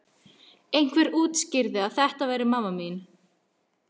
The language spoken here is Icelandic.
Einhver útskýrði að þetta væri amma mín.